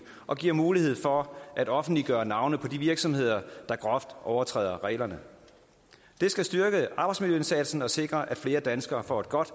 og giver mulighed for at offentliggøre navne på de virksomheder der groft overtræder reglerne det skal styrke arbejdsmiljøindsatsen og sikre at flere danskere får et godt